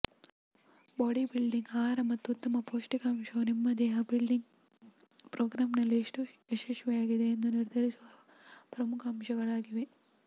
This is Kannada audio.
ಬಾಡಿಬಿಲ್ಡಿಂಗ್ ಆಹಾರ ಮತ್ತು ಉತ್ತಮ ಪೌಷ್ಟಿಕಾಂಶವು ನಿಮ್ಮ ದೇಹ ಬಿಲ್ಡಿಂಗ್ ಪ್ರೋಗ್ರಾಂನಲ್ಲಿ ಎಷ್ಟು ಯಶಸ್ವಿಯಾಗಿದೆ ಎಂದು ನಿರ್ಧರಿಸುವ ಪ್ರಮುಖ ಅಂಶಗಳಾಗಿವೆ